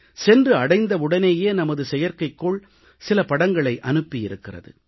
சென்றடைந்தவுடனேயே நமது செயற்கைகோள் சில படங்களை அனுப்பி இருக்கிறது